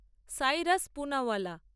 Cyrus Poonawalla